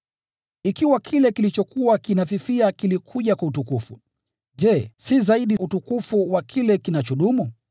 Ikiwa kile kilichokuwa kinafifia kilikuja kwa utukufu, je, si zaidi utukufu wa kile kinachodumu?